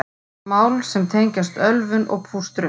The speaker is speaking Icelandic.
Mál sem tengjast ölvun og pústrum